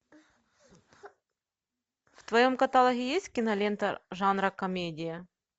в твоем каталоге есть кинолента жанра комедия